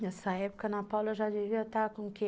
Nessa época, a Ana Paula já devia estar com o quê?